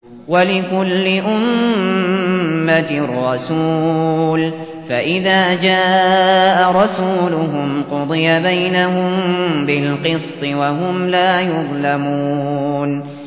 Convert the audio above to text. وَلِكُلِّ أُمَّةٍ رَّسُولٌ ۖ فَإِذَا جَاءَ رَسُولُهُمْ قُضِيَ بَيْنَهُم بِالْقِسْطِ وَهُمْ لَا يُظْلَمُونَ